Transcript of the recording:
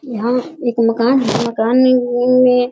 यहाँ एक मकान है मकान --